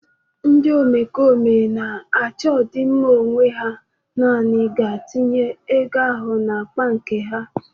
Ndị omekome na-achọ ọdịmma onwe ha nanị ga-atụgharị ego ahụ n'akpa nke ha